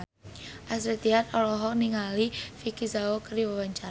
Astrid Tiar olohok ningali Vicki Zao keur diwawancara